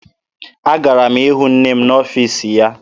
Agara m ịhụ nne m n'ọfiisi ya.